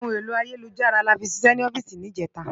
Óhún éló àyélújárà láfì ṣiṣè òfìsí nijètá